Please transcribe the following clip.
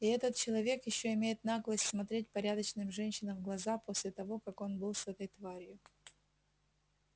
и этот человек ещё имеет наглость смотреть порядочным женщинам в глаза после того как он был с этой тварью